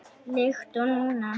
Líkt og núna.